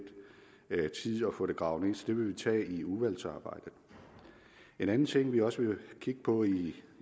tid at få gravet så det vil vi tage i udvalgsarbejdet en anden ting vi også vil kigge på i